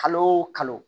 Kalo o kalo